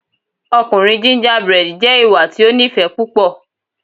Ọkunrin gingerbread jẹ iwa ti o nifẹ pupọ